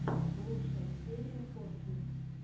лучшая серия коффи